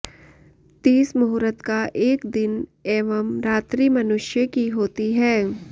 तीस मुहूर्त का एक दिन एवं रात्रि मनुष्यों की होती है